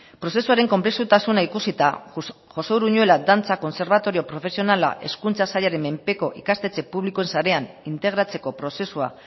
prozesuaren konplexutasuna ikusita josé uruñuela dantza kontserbatorio profesionala hezkuntza sailaren menpeko ikastetxe publikoen sarean integratzeko prozesua